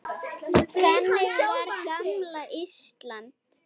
Þannig var gamla Ísland.